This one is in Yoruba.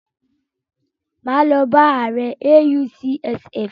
Máa lọ bá ààrẹ AUCSF.